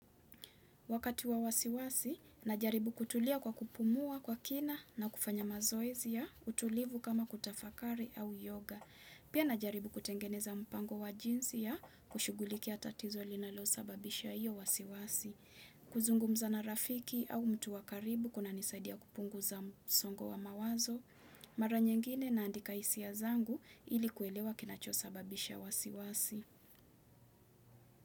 Wakati wa wasiwasi, najaribu kutulia kwa kupumua kwa kina na kufanya mazoezi ya, utulivu kama kutafakari au yoga. Pia najaribu kutengeneza mpango wa jinsi ya kushughulikia tatizo linalosababisha hiyo wasiwasi. Kuzungumza na rafiki au mtu wa karibu kunanisaidia kupunguza msongo wa mawazo. Mara nyingine naandika hisia zangu ili kuelewa kinachosababisha wasiwasi.